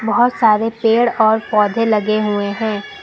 बहुत सारे पेड़ और पौधे लगे हुए हैं।